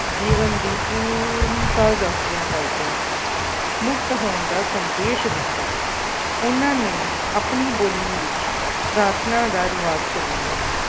ਜੀਵਨ ਦੀ ਪੂਰਨਤਾ ਦੱਸਦਿਆਂ ਦੱਸਦਿਆਂ ਮੁਕਤ ਹੋਣ ਦਾ ਸੰਦੇਸ਼ ਦਿੱਤਾ ਉਹਨਾਂ ਨੇ ਆਪਣੀ ਬੋਲੀ ਵਿੱਚ ਪ੍ਰਾਰਥਨਾ ਦਾ ਰਿਵਾਜ਼ ਚਲਾਇਆ